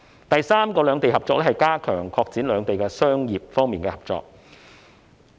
第三個有關兩地合作的舉措，是加強擴展兩地在商業方面的合作。